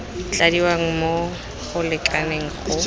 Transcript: tladiwa mo go lekaneng go